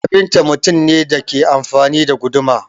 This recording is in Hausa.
Kafinta mutum ne da ke amfani da guduma.